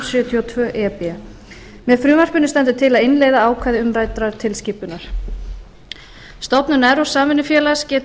og tvö e b með frumvarpinu stendur til að innleiða ákvæði umræddrar tilskipunar stofnun evrópsks samvinnufélags getur